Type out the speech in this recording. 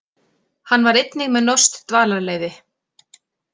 Hann var einnig með norskt dvalarleyfi